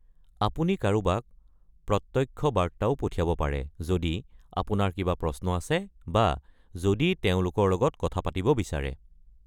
আপুনি কাৰোবাক প্ৰত্যক্ষ্য বাৰ্তাও পঠিয়াব পাৰে যদি আপোনাৰ কিবা প্ৰশ্ন আছে বা যদি তেওঁলোকৰ লগত কথা পাতিব বিছাৰে।